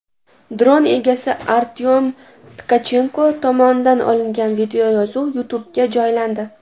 Dron egasi Artyom Tkachenko tomonidan olingan videoyozuv YouTube’ga joylandi.